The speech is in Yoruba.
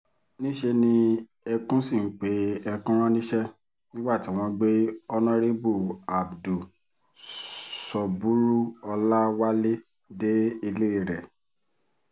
níṣẹ́ ni ẹkùn sì ń pe ẹkùn rán níṣẹ́ nígbà tí wọ́n gbé honorébù abdul sọ́búrú-ọláwálẹ̀ dé ilé rẹ̀